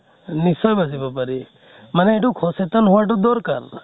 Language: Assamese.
নিশ্চয় বাছি পাৰি । মানে সেইটো সচেতন হোৱা তো দৰকাৰ ।